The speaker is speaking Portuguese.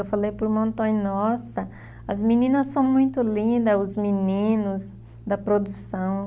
Eu falei para o irmão Antônio, nossa, as meninas são muito lindas, os meninos da produção.